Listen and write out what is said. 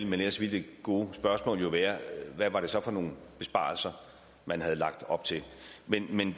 men ellers ville det gode spørgsmål være hvad var det så for nogle besparelser man havde lagt op til men men